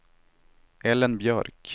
Ellen Björk